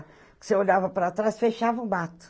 Você olhava para trás, fechava o mato.